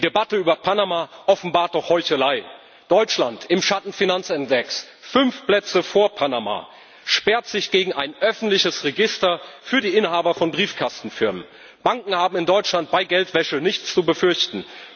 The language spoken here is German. Die Debatte über Panama offenbart doch Heuchelei Deutschland im Schattenfinanzindex fünf Plätze vor Panama sperrt sich gegen ein öffentliches Register für die Inhaber von Briefkastenfirmen. Banken haben in Deutschland bei Geldwäsche nichts zu befürchten.